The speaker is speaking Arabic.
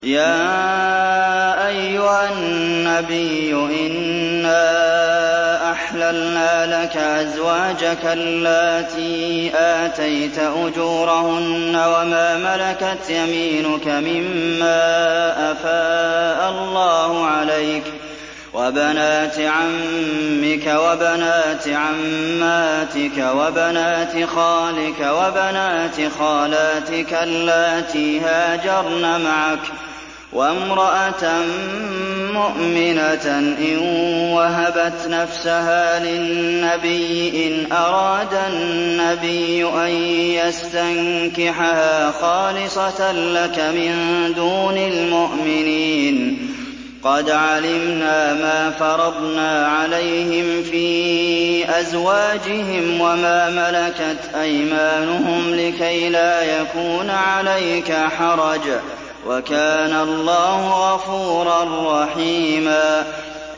يَا أَيُّهَا النَّبِيُّ إِنَّا أَحْلَلْنَا لَكَ أَزْوَاجَكَ اللَّاتِي آتَيْتَ أُجُورَهُنَّ وَمَا مَلَكَتْ يَمِينُكَ مِمَّا أَفَاءَ اللَّهُ عَلَيْكَ وَبَنَاتِ عَمِّكَ وَبَنَاتِ عَمَّاتِكَ وَبَنَاتِ خَالِكَ وَبَنَاتِ خَالَاتِكَ اللَّاتِي هَاجَرْنَ مَعَكَ وَامْرَأَةً مُّؤْمِنَةً إِن وَهَبَتْ نَفْسَهَا لِلنَّبِيِّ إِنْ أَرَادَ النَّبِيُّ أَن يَسْتَنكِحَهَا خَالِصَةً لَّكَ مِن دُونِ الْمُؤْمِنِينَ ۗ قَدْ عَلِمْنَا مَا فَرَضْنَا عَلَيْهِمْ فِي أَزْوَاجِهِمْ وَمَا مَلَكَتْ أَيْمَانُهُمْ لِكَيْلَا يَكُونَ عَلَيْكَ حَرَجٌ ۗ وَكَانَ اللَّهُ غَفُورًا رَّحِيمًا